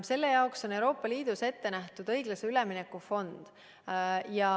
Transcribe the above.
Selle jaoks on Euroopa Liidus ette nähtud õiglase ülemineku fond.